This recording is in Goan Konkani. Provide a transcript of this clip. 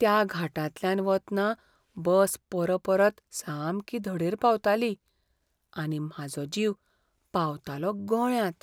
त्या घाटांतल्यान वतना बस परपरत सामकी धडेर पावताली, आनी म्हाजो जीव पावतालो गळ्यांत!